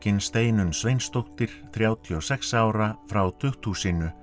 Steinunn Sveinsdóttir þrjátíu og sex ára frá tukthúsinu